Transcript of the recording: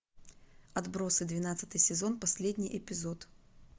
отбросы двенадцатый сезон последний эпизод